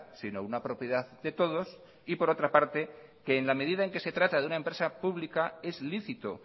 sino una propiedad de todos y por otra parte que en la medida en que se trata de una empresa pública es lícito